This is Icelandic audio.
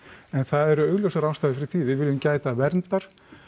en það eru augljósar ástæður fyrir því við viljum gæta verndar